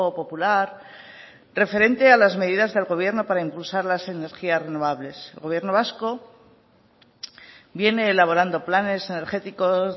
popular referente a las medidas del gobierno para impulsar las energías renovables el gobierno vasco viene elaborando planes energéticos